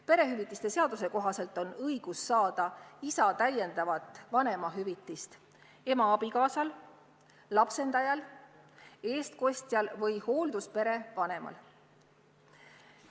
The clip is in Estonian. Perehüvitiste seaduse kohaselt on õigus saada isa täiendavat vanemahüvitist ema abikaasal, lapsendajal, eestkostjal või hoolduspere vanemal.